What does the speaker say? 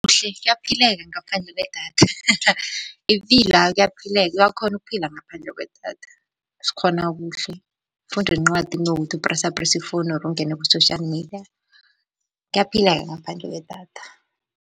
Kuhle, kuyaphileka ngaphandle kwedatha ipilo, awa kuyaphileka, uyakhona ukuphila ngaphandle kwedatha sikghona kuhle. Ufunda incwadi kunokuthi upresaprese i-phone or ungene ku-social media. Kuyaphileka ngaphandle kwedatha.